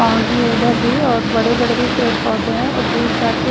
आंधी इधर भी और बड़े बड़े भी पेड़ पौधे हैं और दूर जाके--